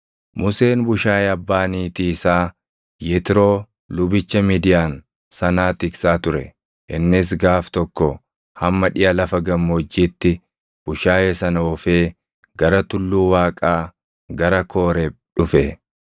Museen bushaayee abbaa niitii isaa Yetroo lubicha Midiyaan sanaa tiksaa ture; innis gaaf tokko hamma dhiʼa lafa gammoojjiitti bushaayee sana oofee gara tulluu Waaqaa gara Kooreeb dhufe.